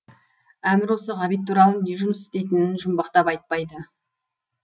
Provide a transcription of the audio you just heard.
әмір осы ғабит туралы не жұмыс істейтінін жұмбақтап айтпайды